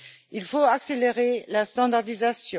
Il faut accélérer la standardisation.